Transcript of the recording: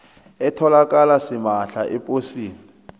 etholakala simahla eposini